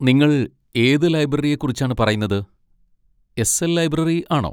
നിങ്ങൾ ഏത് ലൈബ്രറിയെക്കുച്ചാണ് പറയുന്നത്? എസ്.എൽ. ലൈബ്രറി ആണോ?